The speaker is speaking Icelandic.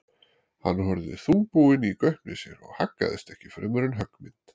Hann horfði þungbúinn í gaupnir sér og haggaðist ekki fremur en höggmynd.